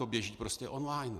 To běží prostě online.